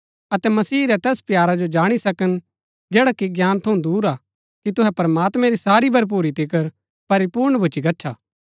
अतै मसीह रै तैस प्यारा जो जाणी सकन जैडा कि ज्ञान थऊँ दूर हा कि तुहै प्रमात्मैं री सारी भरपुरी तिकर परिपूर्ण भुच्‍ची गच्छा